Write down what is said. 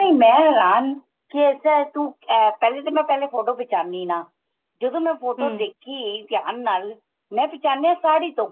ਨਹੀਂ ਮੈਂ ਹੇਰਾਨ ਕੀ ਇਸ ਤਰ੍ਹਾਂ ਏ ਤੂੰ ਪਹਿਲੇ ਤਾਂ ਮੈਂ ਪਹਿਲੇ photo ਖਿਚਾਨੀ ਨਾ ਜਦੋਂ ਮੈਂ ਦੇਖੀ ਧਿਆਨ ਨਾਲ ਮੈਂ ਪਹਿਚਾਣੀਆ ਸਾੜੀ ਤੋਂ